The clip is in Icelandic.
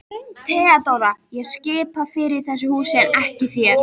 THEODÓRA: Ég skipa fyrir í þessu húsi en ekki þér.